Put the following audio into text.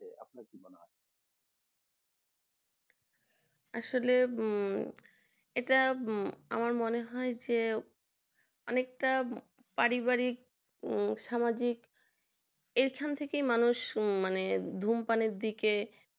আসলে এটা এটা আমার মনে হয় যে অনেকটা পারিবারিক সামাজিক এখান থেকে মানুষ ধূমপানের দিকে